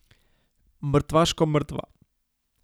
Mrtvaško mrtva.